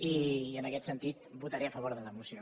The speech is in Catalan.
i en aquest sentit votaré a favor de la moció